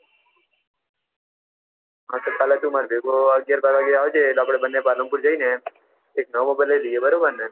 તો કાલ તું માર ભેગો અગિયાર બાર વાગ્યા જેવો આવજે આપને બંને પાલનપુર જઈ ને એક નવો mobile લઇ લિયે બરોબર ને